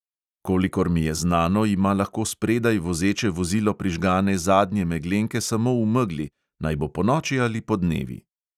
Kolikor mi je znano, ima lahko spredaj vozeče vozilo prižgane zadnje meglenke samo v megli, naj bo ponoči ali podnevi.